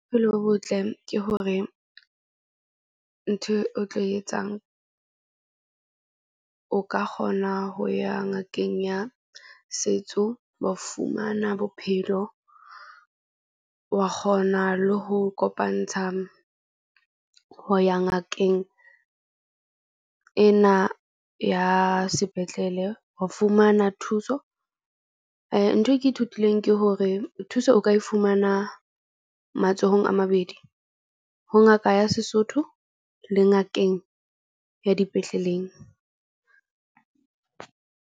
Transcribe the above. Bophelo bo botle ke hore ntho o tlo etsang o ka kgona ho ya ngakeng ya setso. Wa fumana bophelo wa kgona le ho kopantsha ho ya ngakeng ena ya sepetlele ho fumana thuso. Ntho eo ke ithutileng ke hore thuso o ka e fumana matsohong a mabedi. Ho ngaka ya Sesotho le ngakeng ya dipetleleng.